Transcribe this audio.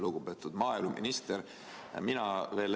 Lugupeetud maaeluminister!